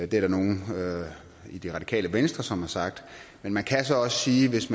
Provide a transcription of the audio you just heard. der nogle i det radikale venstre som har sagt men man kan så også sige at hvis